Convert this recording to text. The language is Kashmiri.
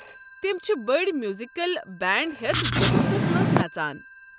تِم چھِ بٔڑۍ میوزیکل بینٛڈ ہیتھ جلوٗسس منٛز نژان۔